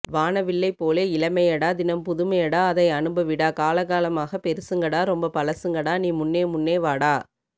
வானவில்லை போலே இளமையடா தினம் புதுமையடா அதை அனுபவிடா காலகாலமாக பெருசுங்கடா ரொம்ப பழசுங்கடா நீ முன்னே முன்னே வாடா